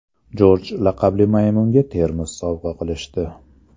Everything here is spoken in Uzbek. Jorj laqabli maymunga termos sovg‘a qilishdi.